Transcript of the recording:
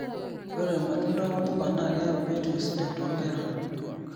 Ore matunda wombuka na keyau biotisho sidai too nkera.